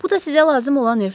Bu da sizə lazım olan ev.